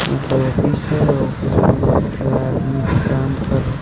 ये तो ऑफिस है ऑफिस में बहुत सारा आदमी काम कर रहे।